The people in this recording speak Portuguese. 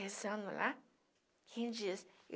Rezando lá, quem diz?